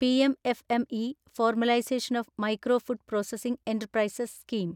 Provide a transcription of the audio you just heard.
PM FME formalisation of micro food processing enterprises scheme